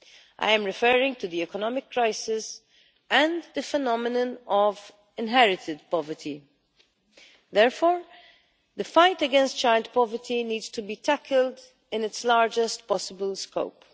I am referring to the economic crisis and the phenomenon of inherited poverty. Therefore the fight against child poverty needs to be tackled in its largest possible scope.